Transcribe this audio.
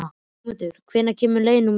Sigmundur, hvenær kemur leið númer sjö?